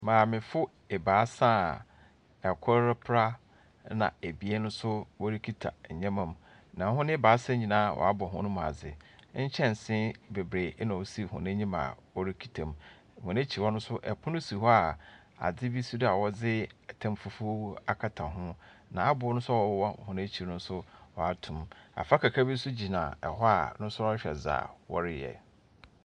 Maamefo ebaasa a kor repra, na ebien nso wɔrekita ndzɛmba mu. Na hɔn ebaasa nyinaa wɔabɔ hɔn mu adze. Nkyɛnsee beberee na ɔsi hɔn enyim a ɔrekita mu. Hɔn ekyir no nso pono bi si hɔ a adze bi si do a wɔdze tam fufuw akata ho, na abow no nso a ɔwɔ hɔn ekyir no nso wɔato mu. Abobra kakraba bi nso gyina hɔ a ɔno nso rehwɛ dza wɔreyɛ.